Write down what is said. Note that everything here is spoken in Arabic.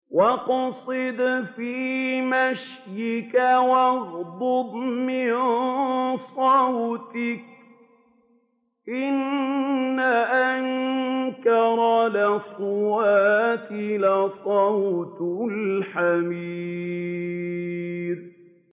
وَاقْصِدْ فِي مَشْيِكَ وَاغْضُضْ مِن صَوْتِكَ ۚ إِنَّ أَنكَرَ الْأَصْوَاتِ لَصَوْتُ الْحَمِيرِ